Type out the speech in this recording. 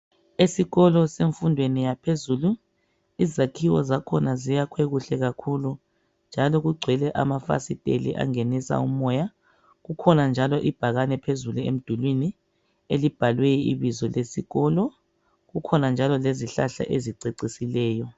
Esikolo semfundweni yaphezulu izakhiwo zakhona ziyakhwe kuhle kakhulu njalo kugcwele amafasiteli angenisa umoya kukhona anjalo ibhakani phezulu emdulini elibhalwe ibizo lesikolo kukhona njalo lezihlahla ezicecisileyo.